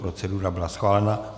Procedura byla schválena.